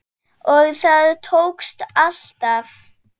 Og það tókst alltaf.